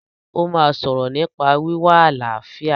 Ó máa sọ̀rọ̀ nípa wíwá àlàáfíà